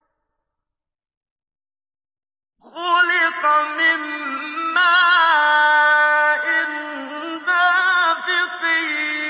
خُلِقَ مِن مَّاءٍ دَافِقٍ